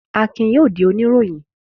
Akin yóò di oníròyìn.